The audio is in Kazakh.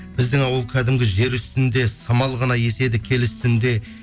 біздің ауыл кәдімгі жер үстінде самал ғана еседі киелі үстінде